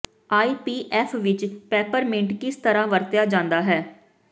ਆਈ P F ਵਿਚ peppermint ਕਿਸ ਤਰ੍ਹਾਂ ਵਰਤਿਆ ਜਾਂਦਾ ਹੈ